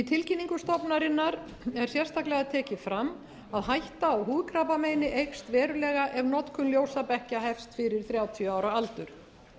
tilkynningu stofnunarinnar er sérstaklega tekið fram að hætta á húðkrabbameini eykst verulega ef notkun ljósabekkja hefst fyrir þrjátíu ára aldur